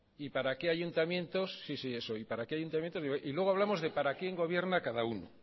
y luego hablamos de